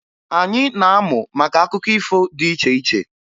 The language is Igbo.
Anyị na-amụ maka akụkọ ifo dị iche iche